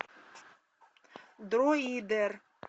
дроидер